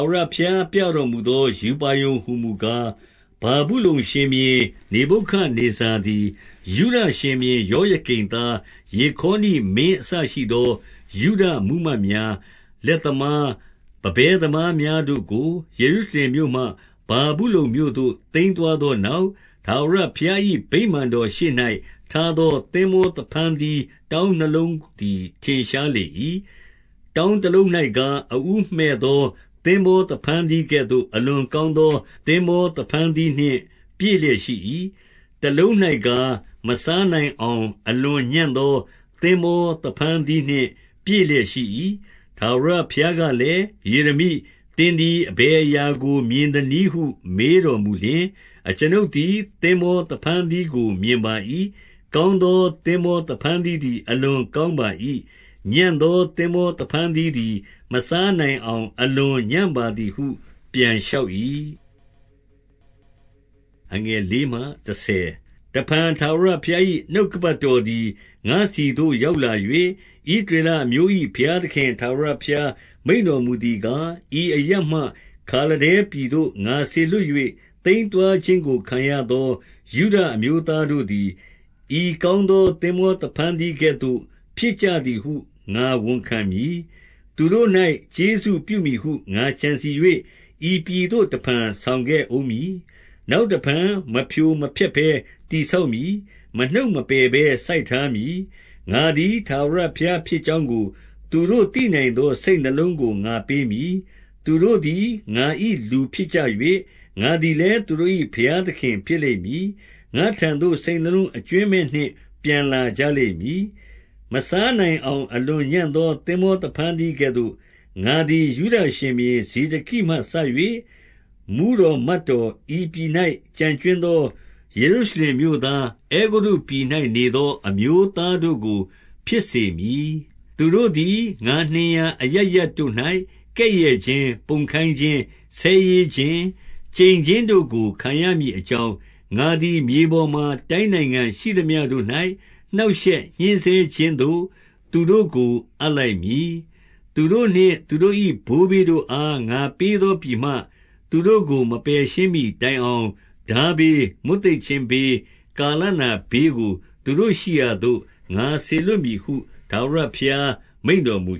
ဝရဘုရား ပြတော်မူသော ရူပါရုံဟူမူကား၊ ဗာဗုလုန်ရှင်ဘုရင် နေဗုခဒ်နေဇာသည် ယုဒရှင်ဘုရင် ယောယကိမ်သားယေခါနိမင်းအစရှိသော ယုဒမှူးမတ် များ၊ လက်သမား၊ ပန်းပဲသမားများတို့ကို ယေရုရှလင်မြို့ မှ ဗာဗုလုန်မြို့သို့ သိမ်းသွားသောနောက်၊ ထာဝရဘုရား ၏ ဗိမာန်တော်ရှေ့၌ထားသော သင်္ဘော သဖန်းသီး တောင်းနှစ်လုံးသည် ထင်ရှားလေ၏။ 2 တောင်းတလုံး၌ကား၊ အဦးမှည့်သော သင်္ဘော သဖန်းသီးကဲ့သို့ အလွန်ကောင်းသော သင်္ဘောသဖန်းသီး နှင့် ပြည့်လျက်ရှိ၏။ တလုံး၌ကား၊ မစားနိုင်အောင် အလွန်ညံ့သော သင်္ဘောသဖန်းသီးနှင့် ပြည့်လျက်ရှိ၏။ 3 ထာဝရဘုရားကလည်း၊ ယေရမိ၊ သင်သည် အဘယ်အရာကို မြင်သနည်းဟုမေးတော်မူလျှင်၊ အကျွန်ုပ်သည် သင်္ဘောဖန်းသီးကို မြင်ပါ၏။ ကောင်း သော သင်္ဘောဖန်းသီးသည် အလွန်ကောင်းပါ၏။ ညံ့သော သင်္ဘေသဖန်းသီးသည် မစားနိုင်အောင် အလွန်ညံ့ပါသည်ဟု ပြန်လျှောက်၏။ 4 တဖန် ထာဝရဘုရား၏ နှုတ်ကပတ်တော်သည် ငါ့ဆီသို့ ရောက်လာ၍၊ ဣသရေလအမျိုး၏ ဘုရားသခင် ထာဝရဘုရား မိန့်တော်မူသည်ကား၊ 5 ဤအရပ်မှ ခါလဒဲပြည်သို့ ငါစေလွှတ်၍ သိမ်း သွားခြင်းကို ခံရသော ယုဒအမျိုးသားတို့သည်၊ ဤကောင်း သော သင်္ဘောသဖန်းသီးကဲ့သို့ ဖြစ်ကြသည်ဟု ငါဝန်ခံ မည်။ 6 သူတို့၌ ကျေးဇူးပြုမည်ဟု ငါကြံစည်၍၊ ဤပြည် သို့တဖန် ဆောင်ခဲ့ဦးမည်။ နောက်တဖန် မဖြိုမဖျက်ဘဲ တည်ဆောက်မည်။ မနှုတ် မပယ်ဘဲစိုက်ထားမည်။ 7 ငါသည် ထာဝရဘုရားဖြစ်ကြောင်းကို၊ သူတို့ သိနိုင်သော စိတ်နှလုံးကို ငါပေးမည်။ သူတို့သည် ငါ၏လူ ဖြစ်ကြ၍၊ ငါသည်လည်း သူတို့၏ ဘုရားသခင်ဖြစ်လိမ့် မည်။ ငါ့ထံသို့ စိတ်နှလုံးအကြွင်းမဲ့နှင့် ပြန်လာကြလိမ့် မည်။ 8 မစားနိုင်အောင် အလွန်ညံ့သော သင်္ဘော သဖန်းသီးကဲ့သို့၊ ငါသည် ယုဒရှင်ဘုရင် ဇေဒကိမှစ၍၊ မှူးတော်မတ်တော်၊ ဤပြည်၌ ကျန်ကြွင်းသော ယေရု ရှလင်မြို့သား၊ အဲဂုတ္တုပြည်၌နေသော အမျိုးသားတို့ကို ဖြစ်စေမည်။ 9 သူတို့သည် ငါနှင်ရာအရပ်ရပ်တို့၌ ကဲ့ရဲ့ခြင်း၊ ပုံခိုင်းခြင်း၊ ဆဲရေးခြင်း၊ ကျိန်ခြင်းတို့ကို ခံရမည် အကြောင်း၊ ငါသည် မြေပေါ်မှာ တိုင်းနိုင်ငံရှိသမျှတို့၌ နှောင့်ရှက်ညှဉ်းဆဲခြင်းသို့ သူတို့ကို အပ်လိုက်မည်။ 10 သူတို့နှင့် သူတို့၏ ဘိုးဘေးတို့အား ငါပေးသော ပြည်မှ၊ သူတို့ကို မပယ်ရှင်းမှီတိုင်အောင် ထားဘေး၊ မွတ်သိပ်ခြင်းဘေး၊ ကာလနာဘေးကို သူတို့ရှိရာသို့ ငါစေလွှတ်မည်ဟု ထာဝရဘုရား မိန့်တော်မူ